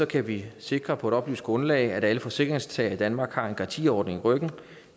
kan vi sikre på et oplyst grundlag at alle forsikringstagere i danmark har en garantiordning i ryggen